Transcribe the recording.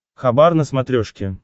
хабар на смотрешке